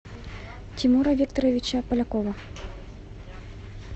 тимура викторовича полякова